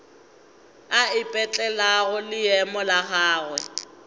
a ipetlelago leemo la gagwe